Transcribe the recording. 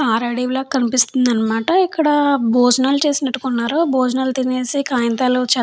కారడివి లాగా కనిపిస్తుంది అనమాట ఇక్కడ భోజనాలు చేసినట్టుకున్నారు భోజనాలు తినేసి కాయింతలు చె --